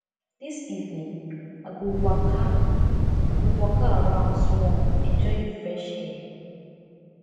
dis evening i go waka i go waka around small enjoy di fresh air